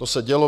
To se dělo.